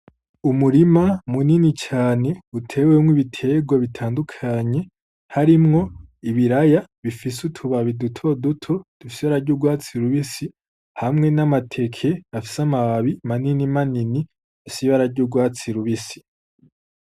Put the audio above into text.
Umurima munini cane uteyemwo ibiterwa bitandukanye harimwo ibiraya bifise utubabi duto duto dufise ibara ry'urwatsi rubisi hamwe n'amateke afise amababi manini manini afise ibara ry'urwatsi rubisi.